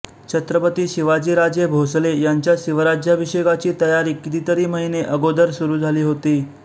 छत्रपती शिवाजीराजे भोसले यांच्या शिवराज्याभिषेकाची तयारी कितीतरी महिने अगोदर सुरू झाली होती